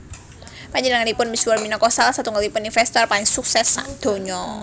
Panjenenganipun misuwur minangka salah satunggalipun investor paling sukses sadonya